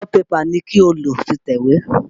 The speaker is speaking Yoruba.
A4 pẹpà ni kí o lò fi tẹ̀wé!